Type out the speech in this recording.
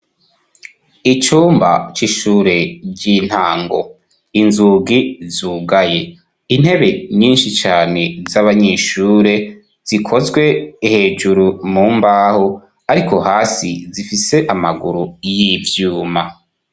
Icumba c'ishure ry'intango, inzugi zugaye, intebe nyinshi cane z'abanyeshure zikozwe, hejuru mu mbaho ariko hasi zifise amaguru y'ivyuma.